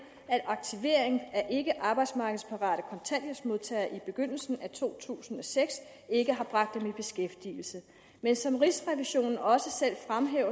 at aktivering af ikkearbejdsmarkedsparate kontanthjælpsmodtagere i begyndelsen af to tusind og seks ikke har bragt dem i beskæftigelse men som rigsrevisionen også